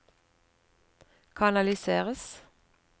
kanaliseres